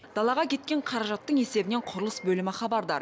далаға кеткен қаражаттың есебімен құрылыс бөлімі хабардар